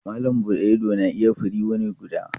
Malam buɗe ido na iya firiyi wuni guda.